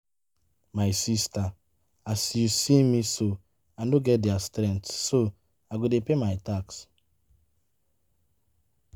My sister as you see me so I no get their strength so I go dey pay my tax